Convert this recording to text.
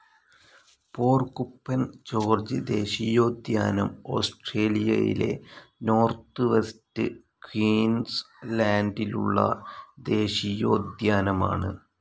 porcupine gorge ദേശീയോദ്യാനം ഓസ്‌ട്രേലിയയിലെ north west ക്യൂൻസ്‌ ലാൻഡിലുള്ള ദേശീയോദ്യാനമാണ്